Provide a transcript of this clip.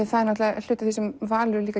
það er hluti af því sem Valur